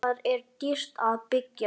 Þar er dýrt að byggja.